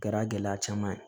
Kɛra gɛlɛya caman ye